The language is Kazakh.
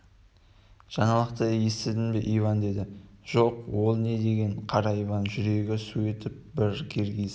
жаңалықты есіттің бе иван деді жоқ ол не деген қара иван жүрегі су етіп бір киргиз